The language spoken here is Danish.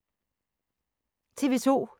TV 2